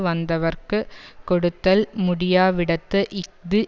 வந்தவர்க்குக் கொடுத்தல் முடியாவிடத்து இஃது